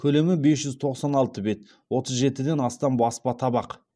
көлемі бес жүз тоқсан алты бет отыз жетіден астам баспа табақ